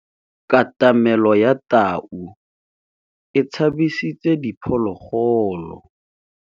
Katamêlô ya tau e tshabisitse diphôlôgôlô.